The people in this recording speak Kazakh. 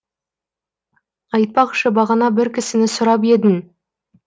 айтпақшы бағана бір кісіні сұрап едің